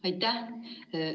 Aitäh!